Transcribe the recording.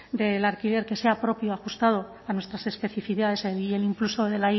del alquiler que sea propio ajustado a nuestras especificidades y el impulso de